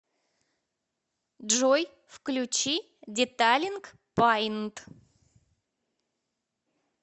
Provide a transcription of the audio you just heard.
джой включи деталинг паинт